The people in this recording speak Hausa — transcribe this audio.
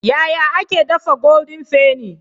Yaya ake dafa goldin fenny?